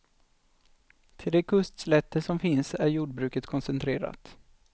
Till de kustslätter som finns är jordbruket koncentrerat.